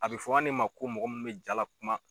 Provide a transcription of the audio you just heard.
A bɛ fɔ an ne ma ko mɔgɔ mun bɛ jaa lakuma.